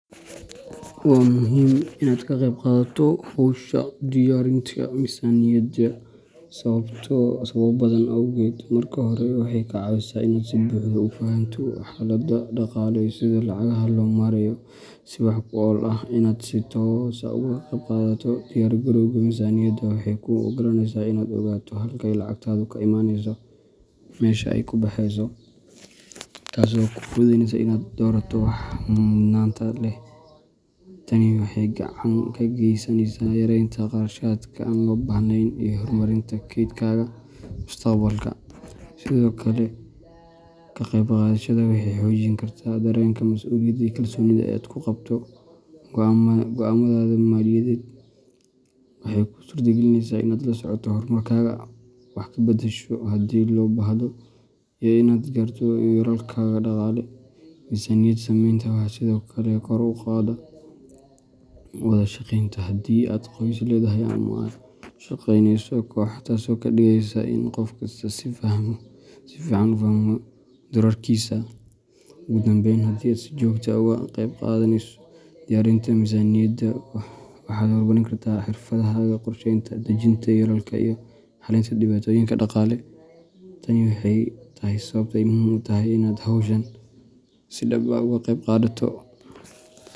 Waa muhiim inaad ka qaybqaadato hawsha diyaarinta miisaaniyadda sababo badan awgood. Marka hore, waxay kaa caawisaa inaad si buuxda u fahanto xaaladdaada dhaqaale iyo sida lacagaha loo maareeyo si wax ku ool ah. Inaad si toos ah uga qaybqaadato diyaargarowga miisaaniyadda waxay kuu ogolaaneysaa inaad ogaato halka ay lacagtaadu ka imaneyso iyo meesha ay ku baxeyso, taasoo kuu fududeyneysa inaad doorato waxa mudnaanta leh. Tani waxay gacan ka geysaneysaa yareynta kharashaadka aan loo baahnayn iyo horumarinta kaydkaaga mustaqbalka. Sidoo kale, ka qaybqaadashadaada waxay xoojin kartaa dareenka mas’uuliyadda iyo kalsoonida aad ku qabto go’aamadaada maaliyadeed. Waxay kuu suurtagelinaysaa inaad la socoto horumarkaaga, wax ka beddesho haddii loo baahdo, iyo inaad gaarto yoolalkaaga dhaqaale. Miisaaniyad sameynta waxay sidoo kale kor u qaadaa wada shaqaynta haddii aad qoys leedahay ama la shaqeyneyso koox, taasoo ka dhigaysa in qof kastaa si fiican u fahmo doorarkiisa. Ugu dambeyn, haddii aad si joogto ah uga qaybqaadato diyaarinta miisaaniyadda, waxaad horumarin doontaa xirfadahaaga qorsheynta, dejinta yoolalka, iyo xalinta dhibaatooyinka dhaqaale. Tani waxay tahay sababta ay muhiim u tahay inaad hawshan si dhab ah uga qaybqaadato.